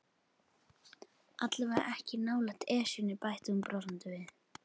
Allavega ekki nálægt Esjunni bætti hún brosandi við.